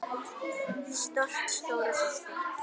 Stolt stóra systir.